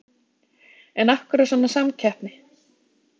En af hverju svona samkeppni?